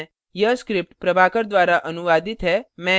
अब हम इस tutorial के अंत में आ गये हैं